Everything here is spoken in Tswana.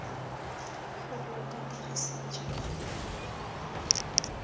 gore o ka dirisa jang